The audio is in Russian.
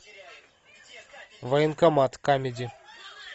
военкомат камеди